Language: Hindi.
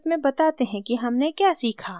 संक्षिप्त में बताते हैं कि हमने क्या सीखा